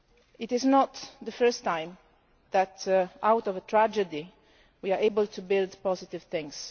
It is not the first time that out of a tragedy we are able to build positive things.